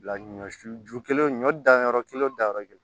Bila ɲɔ su ju kelen ɲɔ dan yɔrɔ kelen o danyɔrɔ kelen